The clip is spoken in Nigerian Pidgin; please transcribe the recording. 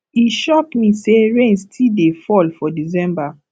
e shock me sey rain still dey fall for december